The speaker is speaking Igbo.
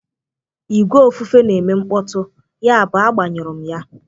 ìgwè ofufe na-eme mkpọtụ, yabụ agbanyụrụ m ya